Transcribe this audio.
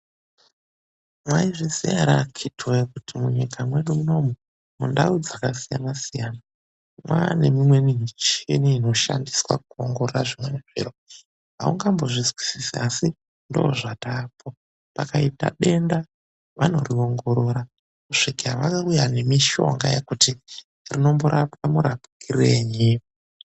Mwaizviziya ere akhiti woye kuti munyika mwedu munomu mundau dzakasiyanasiyana mwaane mumweni michini inoshandiswa kuongorora zvimweni zviro? Aungambozvizwisisi asi ndoozvataapo. Pakaita denda, vanoriongorora kusvika vauya nemishonga yekuti rinomborapwa murapwirenyi.